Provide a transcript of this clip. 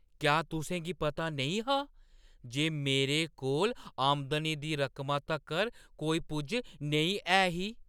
क्या तुसें गी पता नेईं हा जे मेरे कोल आमदनी दी रकमा तक्कर कोई पुज्ज नेईं है ही?